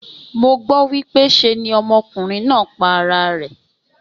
Mo gbó wípé se ni okùnrin náà pa ara rè.